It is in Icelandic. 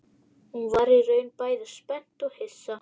Hún varð í raun bæði spennt og hissa